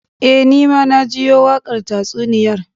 Eh, Ni ma na jiyo wakar tatsuniyar